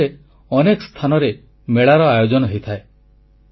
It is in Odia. ଏ ସମୟରେ ଅନେକ ସ୍ଥାନରେ ମେଳାର ଆୟୋଜନ ହୋଇଥାଏ